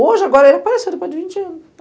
Hoje, agora, ele apareceu depois de vinte anos.